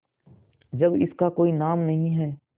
जब इसका कोई नाम नहीं है